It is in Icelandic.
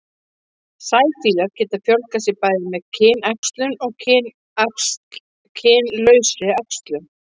sæfíflar geta fjölgað sér bæði með kynæxlun og kynlausri æxlun